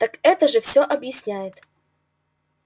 так это же все объясняет